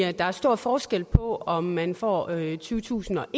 at der er stor forskel på om man får tyvetusinde og